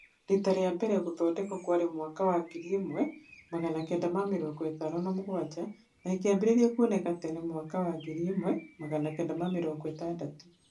Rita rĩa mbere gũthondekwo kwarĩ mwaka wa Mwaka wa ngiri ĩmwe Magana kenda ma mĩrongo ĩtano na mũgwanja na ĩkĩambĩrĩria kuoneka tene mwaka wa Mwaka wa ngiri ĩmwe Magana kenda ma mĩrongo ĩtandatù